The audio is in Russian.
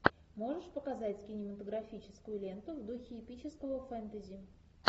можешь показать кинематографическую ленту в духе эпического фэнтези